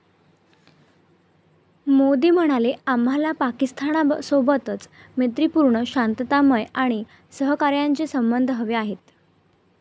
मोदी म्हणाले, आम्हाला पाकिस्तानसोबत मैत्रीपूर्ण, शांततामय आणि सहकार्याचे संबध हवे आहेत.